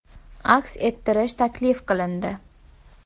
aks ettirish taklif qilindi.